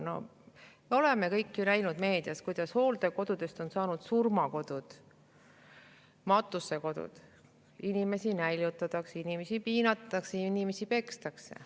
Me kõik oleme meediast näinud, kuidas hooldekodudest on saanud surmakodud, matusekodud, inimesi näljutatakse, inimesi piinatakse, inimesi pekstakse.